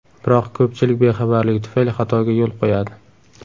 Biroq ko‘pchilik bexabarligi tufayli xatoga yo‘l qo‘yadi.